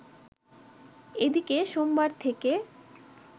এদিকে সোমবার থেকে